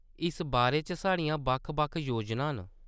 इस बारे च साढ़ियां बक्ख-बक्ख योजनां न।